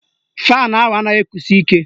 Faanụ ahụ anaghị ekusi ike